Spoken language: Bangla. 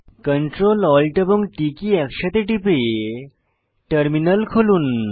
Ctrl Alt এবং T কী একসাথে টিপে টার্মিনাল খুলুন